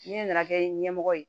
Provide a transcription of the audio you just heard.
Ne nana kɛ ɲɛmɔgɔ ye